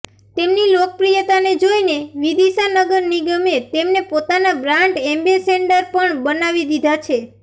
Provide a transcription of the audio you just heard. તેમની લોકપ્રિયતાને જોઈને વિદિશા નગર નિગમે તેમને પોતાના બ્રાન્ડ એમ્બેસેડર પણ બનાવી દીધા છે